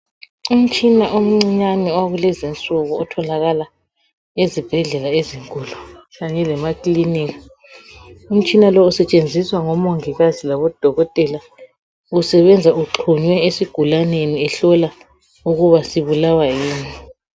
Umtshina omncinyane owakulezinsuku otholakala ezibhedlela ezinkulu kanye lemaklinika. Umtshina lo usetshenziswa ngomongikazi labodokotela, usebenza uxhunywe esigulaneni ehlola ukuba sibulawa yini.